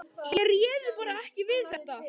Ég réði bara ekki við þetta.